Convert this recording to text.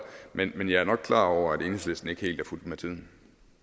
men men jeg er nok klar over at enhedslisten ikke helt er fulgt med tiden